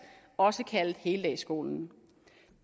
også kaldet heldagsskolen